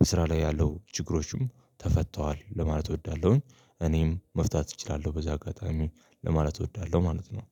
በስራ ላይ ያለው ችግሮችም ተፈተዋል ለማለት እወዳለሁኝ እኔም መፍታት እችላለሁ በዚ አጋጣሚ ለማለት እወዳለሁ ማለት ነው